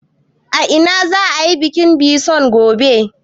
A ina za a yi bikin bison gobe?